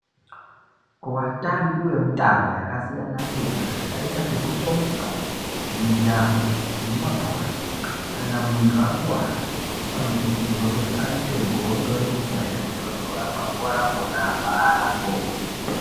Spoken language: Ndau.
Watambi wemitambo yakasiyana siyana zvakaita sokutomuka, mijaho nemabhora kana muntu akuwara anokurudzirwa kuti aise godo remvura inotondora pakuwara pona apapo.